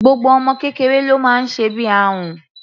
Gbogbo ọmọ kékeré ló máa ń sẹbí ahun.